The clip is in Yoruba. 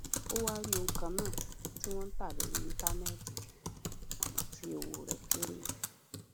o wá rí ohun kan náà tí wón ń tà lórí íńtánéètì àmó tí owó rè kéré